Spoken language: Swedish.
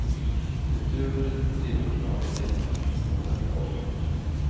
Utöver de tre ordinarie läkarna finns några vikarier.